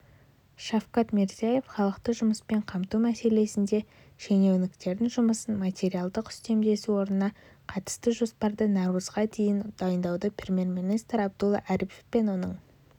шавкат мирзияев халықты жұмыспен қамту мәселесінде шенеуніктердің жұмысын материалдық үстемелеу ұсынысына қатысты жоспарды наурызға дейін дайындауды премьер-министр абдулла арипов пен оның